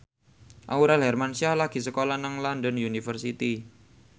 Aurel Hermansyah lagi sekolah nang London University